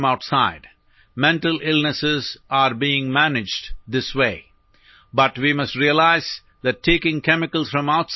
പുറത്തുനിന്നുള്ള രാസവസ്തുക്കൾ ചേർത്ത് ശരീരത്തിനുള്ളിലെ രാസ അസന്തുലിതാവസ്ഥ പരിഹരിക്കാനാണു ഫാർമക്കോളജി പ്രധാനമായും ശ്രമിക്കുന്നത്